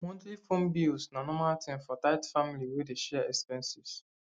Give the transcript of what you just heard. monthly phone bills na normal thing for tight family wey dey share expenses